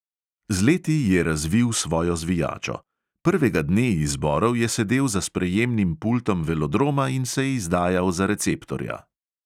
Z leti je razvil svojo zvijačo: prvega dne izborov je sedel za sprejemnim pultom velodroma in se izdajal za receptorja.